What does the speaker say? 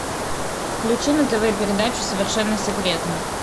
включи на тв передачу совершенно секретно